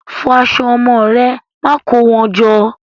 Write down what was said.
Fọ aṣọ ọmọ ẹ. Má kó wọn jọ!